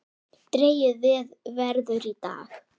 Dregið verður í dag.